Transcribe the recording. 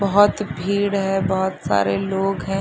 बहोत भीड़ है बहोत सारे लोग हैं ।